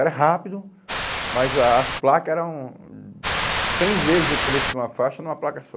Era rápido, mas a as placas eram... Cem vezes o preço de uma faixa numa placa só.